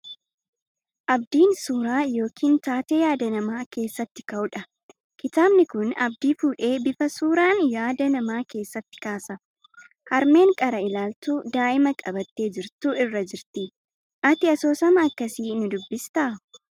Abdiin suuraa yookiin taatee yaada namaa keessatti ka'u dha. Kitaabni kun Abdii fuudhee bifa suuraan yaada namaa keessatti kaasa. Harmeen qara ilaaltu daa'ima qabattee jirtu irra jirti. Ati asoosama akkasii ni dubbistaa?